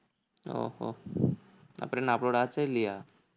ஓஹோ அப்புறம் என்ன upload ஆச்சா இல்லியா